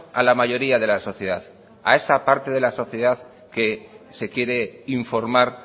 a la mayoría de la sociedad a esa parte de la sociedad que se quiere informar